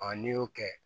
n'i y'o kɛ